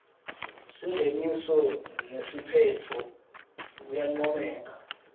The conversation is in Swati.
singeniso nesiphetfo kuyancomeka